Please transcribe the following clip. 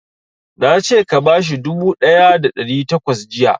Na ce ka bashi dubu ɗaya da ɗari takwas jiya!